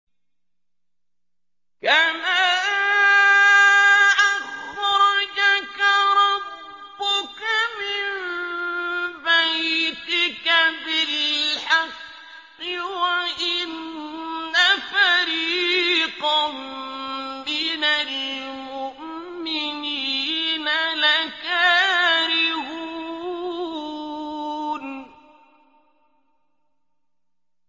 كَمَا أَخْرَجَكَ رَبُّكَ مِن بَيْتِكَ بِالْحَقِّ وَإِنَّ فَرِيقًا مِّنَ الْمُؤْمِنِينَ لَكَارِهُونَ